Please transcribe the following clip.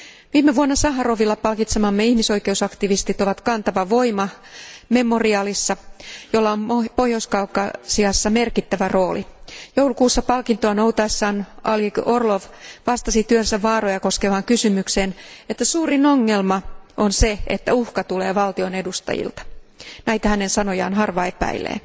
Viime vuonna Saharovilla palkitsemamme ihmisoikeusaktivistit ovat kantava voima Memorial järjestössä, jolla on Pohjois Kaukasiassa merkittävä rooli. Joulukuussa palkintoa noutaessaan Oleg Orlov vastasi työnsä vaaroja koskevaan kysymykseen, että suurin ongelma on se, että uhka tulee valtion edustajilta. Näitä hänen sanojaan harva epäilee.